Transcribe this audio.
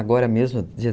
Agora mesmo, dia